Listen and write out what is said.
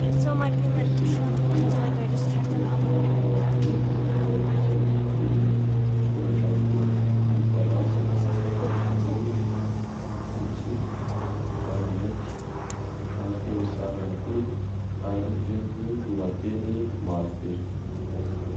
Gazety jejoo feno soratra marobe eo amin' ilay gazety toy ny soratra miloko volom-parasy, miloko mena, fotsy ary mainty ary feno sary ihany koa ary feno lohateny maro be.